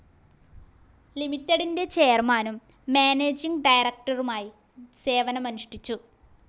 ലിമിറ്റഡിൻ്റെ ചെയർമാനും മാനേജിങ്‌ ഡയറക്ടറുമായി സേവനമനുഷ്ഠിച്ചു.